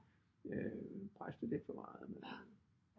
Presse det lidt for meget men